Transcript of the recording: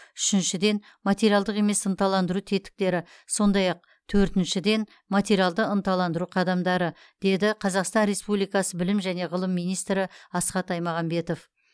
үшіншіден материалдық емес ынталандыру тетіктері сондай ақ төртіншіден материалды ынталандыру қадамдары деді қазақстан республикасы білім және ғылым министрі асхат аймағамбетов